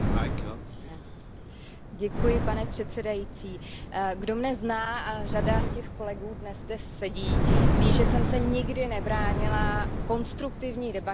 Pane předsedající, kdo mne zná a řada těch kolegu zde dnes sedí ví, že jsem se nikdy nebránila konstruktivní debatě o jakémkoliv tématu.